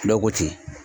Dɔ ko ten